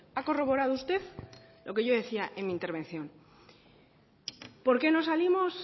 ha corroborado usted lo que yo decía en mi intervención por qué no salimos